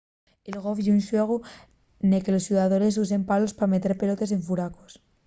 el golf ye un xuegu nel que los xugadores usen palos pa meter pelotes en furacos